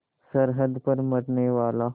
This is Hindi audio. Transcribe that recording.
सरहद पर मरनेवाला